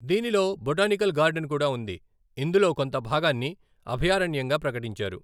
దీనిలో botanical garden కూడా ఉంది, ఇందులో కొంత భాగాన్ని అభయారణ్యంగా ప్రకటించారు.